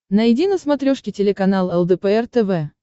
найди на смотрешке телеканал лдпр тв